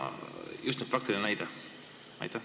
Küsin just praktilist näidet.